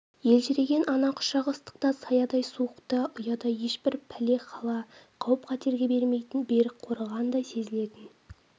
елжіреген ана құшағы ыстықта саядай суықта ұядай ешбір пәле-хала қауіп-қатерге бермейтін берік қорғандай сезілетін